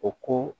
O ko